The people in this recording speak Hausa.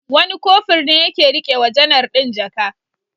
Wani Kofur ne ya ke riƙe wa janar ɗin jaka.